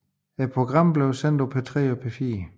Programmet blev sendt på P3 og P4